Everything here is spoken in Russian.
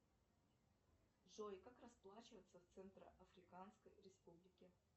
джой как расплачиваться в центро африканской республике